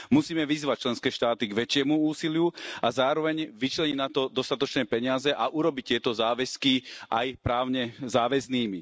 Musíme vyzvať členské štáty k väčšiemu úsiliu a zároveň vyčleniť na to dostatočné peniaze a urobiť tieto záväzky aj právne záväznými.